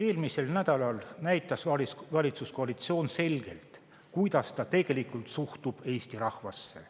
Eelmisel nädalal näitas valitsuskoalitsioon selgelt, kuidas ta tegelikult suhtub Eesti rahvasse.